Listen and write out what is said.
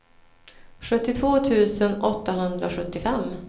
sjuttiotvå tusen åttahundrasjuttiofem